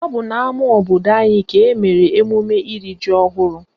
Ọ bụ n'ama obodo anyị ka emere emume iri ji ọhụrụ